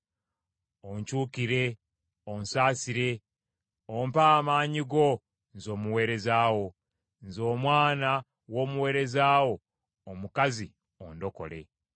Onkyukire, onsaasire, ompe amaanyi go nze omuweereza wo; nze omwana w’omuweereza wo omukazi ondokole.